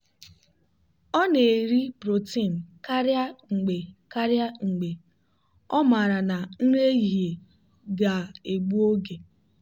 ọ na-eri protein karịa mgbe karịa mgbe ọ maara na nri ehihie ga-egbu oge.